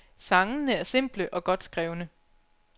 Sangene er simple og godt skrevne.